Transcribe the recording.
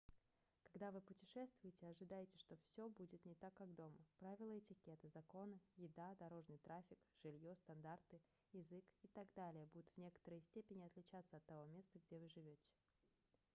когда вы путешествуете ожидайте что всё будет не так как дома правила этикета законы еда дорожный трафик жильё стандарты язык и так далее будут в некоторой степени отличаться от того места где вы живёте